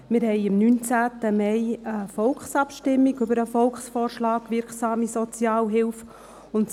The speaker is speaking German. Am 19. Mai findet eine Volksabstimmung über den Volksvorschlag «Wirksame Sozialhilfe» statt.